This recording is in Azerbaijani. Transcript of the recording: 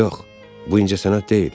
Yox, bu incəsənət deyil.